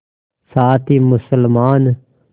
साथ ही मुसलमान